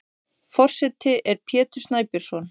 Forseti er Pétur Snæbjörnsson.